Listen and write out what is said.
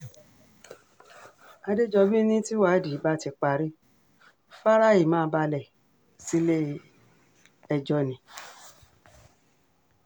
àdẹjọ́bí ni tìwádìí bá ti parí fáráì máa balẹ̀ sílé-ẹjọ́ ni